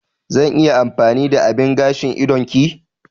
Zan iya amfani da abin gashin idon ki?